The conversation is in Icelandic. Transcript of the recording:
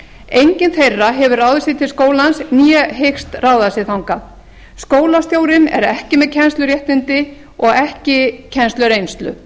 enginn þeirra hefur ráðið sig til skólans né hyggst ráða sig þangað skólastjórinn er ekki með kennsluréttindi og ekki kennslureynslu